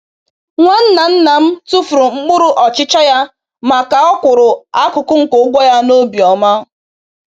Nwanna nna m tufuru mkpụrụ ọchịcha ya ma ka o kwụrụ akụkụ nke ụgwọ ya n’obi ọma